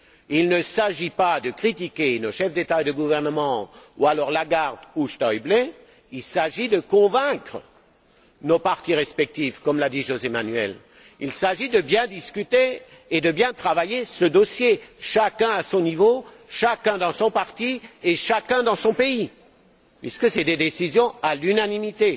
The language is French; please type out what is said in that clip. Il ne s'agit pas de critiquer nos chefs d'État et de gouvernement ou alors Lagarde ou Schäuble, il s'agit de convaincre nos partis respectifs, comme l'a dit José Manuel, il s'agit de bien discuter et de bien travailler ce dossier, chacun à son niveau, chacun dans son parti, et chacun dans son pays, puisque ce sont des décisions à l'unanimité.